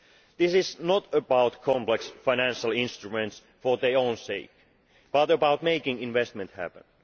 This is not about complex financial instruments for their own sake but about making investment happen.